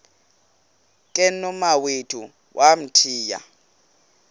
ke nomawethu wamthiya